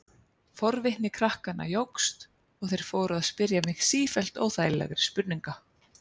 Forvitni krakkanna jókst og þeir fóru að spyrja mig sífellt óþægilegri spurninga.